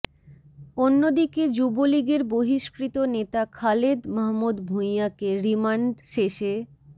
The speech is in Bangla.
অন্যদিকে যুবলীগের বহিষ্কৃত নেতা খালেদ মাহমুদ ভূঁইয়াকে রিমান্ড শেষে